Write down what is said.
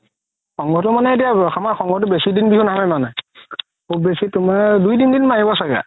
সংঘতো মানে এতিয়া আমাৰ সংঘতো বেচি দিন বিহু নহয় মানে শুব বেচি তুমাৰ দুই তিন দিন মাৰিব ছাগে